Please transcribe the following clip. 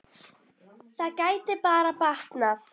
Það gæti bara batnað!